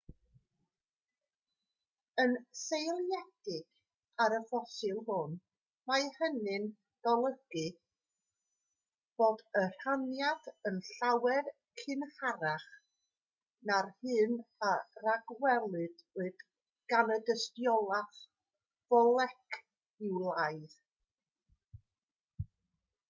yn seiliedig ar y ffosil hwn mae hynny'n golygu bod y rhaniad yn llawer cynharach na'r hyn a ragwelwyd gan y dystiolaeth foleciwlaidd